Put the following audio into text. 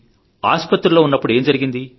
ఆస్పత్రిలో ఏం జరిగింది